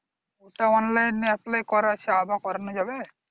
ওটা online এ apply করা আছে আবার করানো যাবে